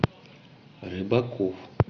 рыбаков